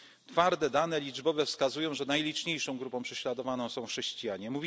skorzystać. Twarde dane liczbowe wskazują, że najliczniejszą grupą prześladowaną są chrześcijanie.